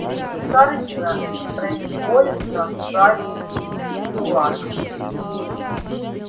руки хардина непроизвольно сжались в кулак